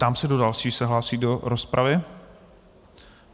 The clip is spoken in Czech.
Ptám se, kdo další se hlásí do rozpravy.